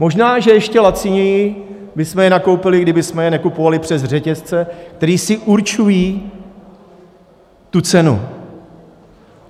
Možná že ještě laciněji bychom je nakoupili, kdybychom je nekupovali přes řetězce, které si určují tu cenu.